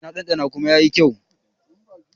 E, na ɗanɗana kuma yayi kyau.